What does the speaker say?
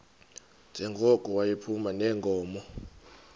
njengoko yayiphuma neenkomo